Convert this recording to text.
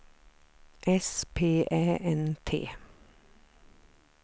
S P Ä N T